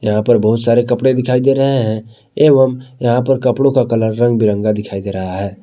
यहां पर बहुत सारे कपड़े दिखाई दे रहे है एवं यहां पर कपड़ों का कलर रंग बिरंगा दिखाई दे रहा है।